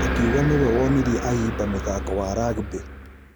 Akĩuga nĩwe wonirie ayimba mũthako wa rugby.